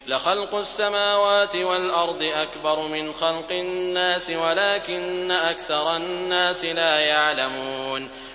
لَخَلْقُ السَّمَاوَاتِ وَالْأَرْضِ أَكْبَرُ مِنْ خَلْقِ النَّاسِ وَلَٰكِنَّ أَكْثَرَ النَّاسِ لَا يَعْلَمُونَ